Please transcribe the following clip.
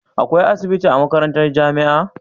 Akwai asibitin a makarantar jamia